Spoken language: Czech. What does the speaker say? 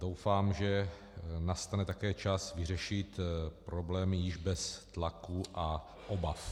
Doufám, že nastane také čas vyřešit problémy již bez tlaku a obav.